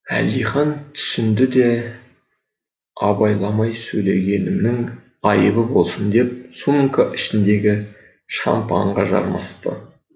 әлдихан түсінді де абайламай сөйлегенімнің айыбы болсын деп сумка ішіндегі шампанға жармасты